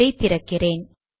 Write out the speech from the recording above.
அதை திறக்கிறேன்